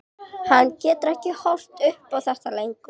Hann getur ekki horft upp á þetta lengur.